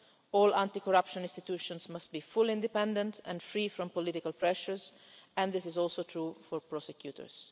All anti corruption institutions must be fully independent and free from political pressures, and this is also true for prosecutors.